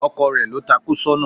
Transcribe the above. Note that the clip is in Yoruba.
Ọkò rẹ lo takú sóna